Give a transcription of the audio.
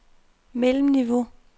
mellemniveau